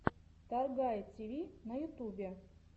торгай тиви на ютубе